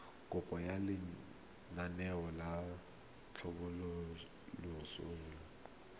kopo ya lenaane la tlhabololosewa